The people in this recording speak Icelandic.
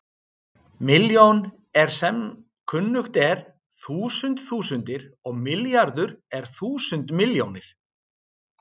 Milljón er sem kunnugt er þúsund þúsundir og milljarður er þúsund milljónir.